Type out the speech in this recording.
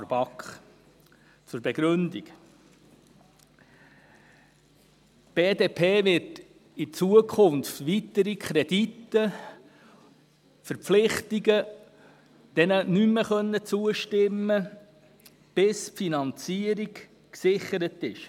der BaK. Hier die Begründung: Die BDP wird in Zukunft weiteren Verpflichtungskrediten nicht mehr zustimmen können, bis die Finanzierung gesichert ist.